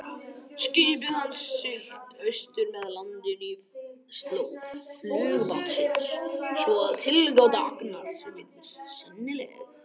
Skipið hafði siglt austur með landinu í slóð flugbátsins, svo að tilgáta Agnars virðist sennileg.